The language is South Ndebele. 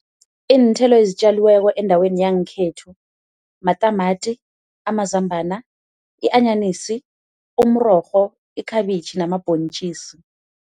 Iinthelo ezitjaliweko endaweni yangekhethu matamati, amazambana, i-anyanisi, umrorho, ikhabitjhi namabhontjisi.